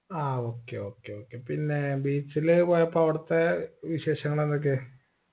ആ okay okay okay പിന്നെ beach ല് പോയപ്പോ അവിടുത്തെ വിശേഷങ്ങൾ എന്തൊക്കെ